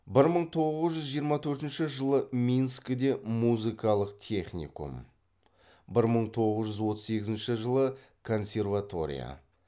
бір мың тоғыз жүз жиырма төртінші жылы минскіде музыкалық техникум бір мың тоғыз жүз отыз екінші жылы консерватория